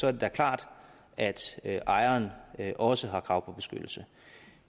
er det da klart at ejeren også har krav på beskyttelse